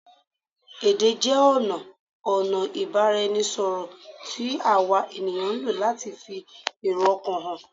Èdè jẹ ọna ọ̀nà ìbáraẹnisọ̀rọ̀ tí àwa èèyàn ń lò láti fi èrò ọkàn hàn